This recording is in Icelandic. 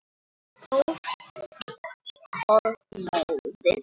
Stórt orð móðir!